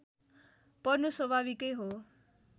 पर्नु स्वाभाविकै हो